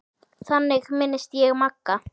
Þannig minnist ég Magga.